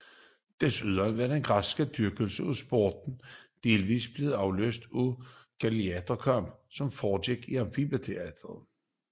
Desuden var den græske dyrkelse af sport delvis blevet afløst af gladiatorkampe som foregik i amfiteatre